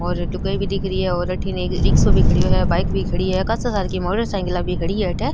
और लुगाई भी दिख रही है और अठीने एक रिक्सा भी खड़ो है बाइक भी खड़ी है कासा सारा की मोटर साईकिल भी खड़ी है अठ।